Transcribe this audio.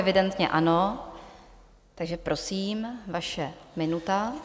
Evidentně ano, takže prosím, vaše minuta.